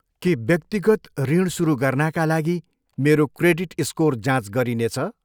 के व्यक्तिगत ऋण सुरु गर्नाका लागि मेरो क्रेडिट स्कोर जाँच गरिनेछ?